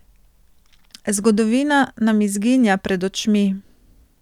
Zgodovina nam izginja pred očmi!